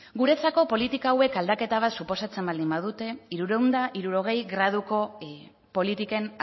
guretzako politika hauek aldaketa bat suposatzen baldin badute hirurehun eta hirurogei graduko politiken